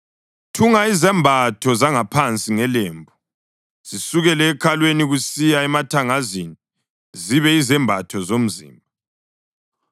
Thunga izembatho zangaphansi ngelembu, zisukele ekhalweni kusiya emathangazini, zibe yizembatho zomzimba.